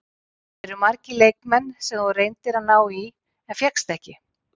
Eru margir leikmenn sem þú reyndir að ná í en fékkst ekki?